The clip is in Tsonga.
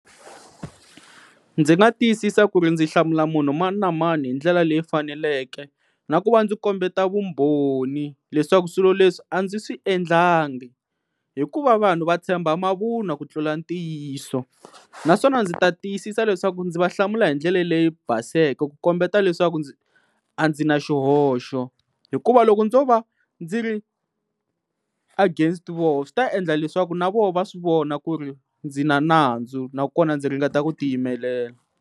Ndzi nga tiyisisa ku ri ndzi hlamula munhu mani na mani hi ndlela leyi faneleke na ku va ndzi kombeta vumbhoni leswaku swilo leswi a ndzi swi endlanga hikuva vanhu va tshemba mavunwa ku tlula ntiyiso naswona ndzi ta tiyisisa leswaku ndzi va hlamula hi ndlela leyi baseke ku kombeta leswaku ndzi a ndzi na xihoxo hikuva loko ndzo va ndzi ri against voho swi ta endla leswaku na vona va swi vona ku ri ndzi na nandzu nakona ndzi ringeta ku ti yimelela.